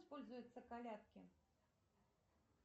используются колядки